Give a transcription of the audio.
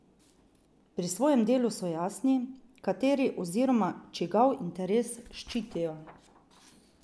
Pri svojem delu so jasni, kateri oziroma čigav interes ščitijo.